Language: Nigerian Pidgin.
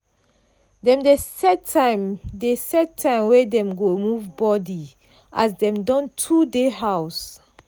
dem dey set time dey set time wey dem go move body as dem don too dey house.